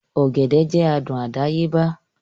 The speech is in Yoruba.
Ọ̀gẹ̀dẹ̀ jẹ́ adùn àdáyébá